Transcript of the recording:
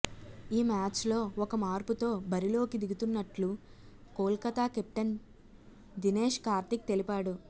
ఈ మ్యాచ్లో ఒక మార్పుతో బరిలోకి దిగుతున్నట్లు కోల్కతా కెప్టెన్ దినేష్ కార్తిక్ తెలిపాడు